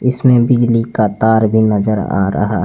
इसमें बिजली का तार भी नजर आ रहा--